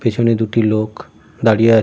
পেছনে দুটি লোক দাঁড়িয়ে আ--